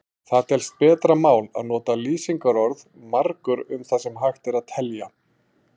Það telst betra mál að nota lýsingarorðið margur um það sem hægt er að telja.